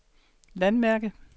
landmærke